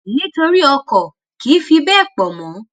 nítorí ọkò kì í fi béè pò mó